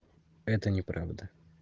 это неправда